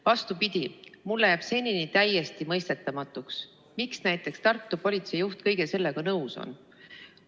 Vastupidi, mulle on jäänud senini täiesti mõistetamatuks, miks näiteks Tartu politseijuht kõige sellega nõus on.